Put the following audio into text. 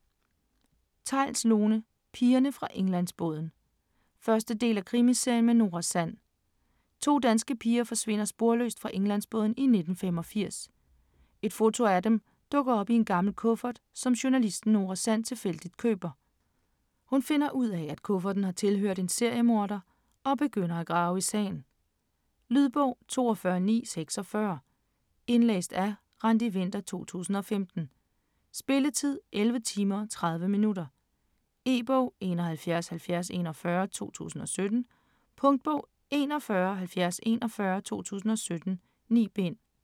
Theils, Lone: Pigerne fra Englandsbåden 1. del af Krimiserien med Nora Sand. To danske piger forsvinder sporløst fra Englandsbåden i 1985. Et foto af dem dukker op i en gammel kuffert, som journalisten Nora Sand tilfældigt køber. Hun finder ud af, at kufferten har tilhørt en seriemorder, og begynder at grave i sagen. Lydbog 42946 Indlæst af Randi Winther, 2015. Spilletid: 11 timer, 30 minutter. E-bog: 717041 2017. Punktbog: 417041 2017. 9 bind.